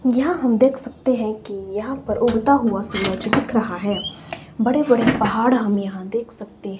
यहां हम देख सकते है की यहां पर उगता हुआ सूरज दिख रहा है बड़े बड़े पहाड़ हम यहां देख सकते--